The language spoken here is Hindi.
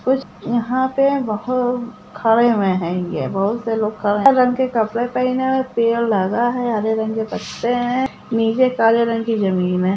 कुछ यहाँ पे बहुत खड़े हुए हेंगे बहुत से लोग हरा रंग के कपड़ा पहने है पेड़ लगा है हरे रंग के पत्ते हैं नीचे काले रंग की जमीन है।